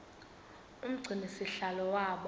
umgcini sihlalo waba